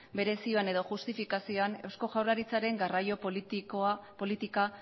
bere zioan edo justifikazioan eusko jaurlaritzaren garraio politika